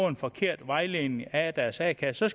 en forkert vejledning af deres a kasse